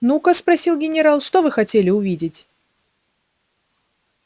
ну ка спросил генерал что вы хотели увидеть